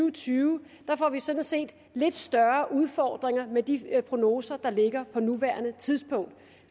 og tyve får vi sådan set lidt større udfordringer med de prognoser der ligger på nuværende tidspunkt